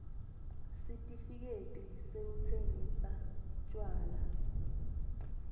sitifiketi sekutsingisa tjwala